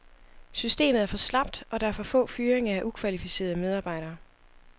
Systemet er for slapt, og der er for få fyringer af ukvalificerede medarbejdere.